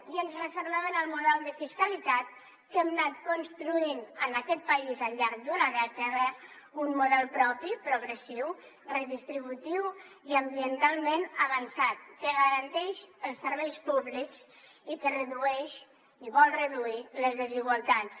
i ens refermem en el model de fiscalitat que hem anat construint en aquest país al llarg d’una dècada un model propi progressiu redistributiu i ambientalment avançat que garanteix els serveis públics i que redueix i vol reduir les desigualtats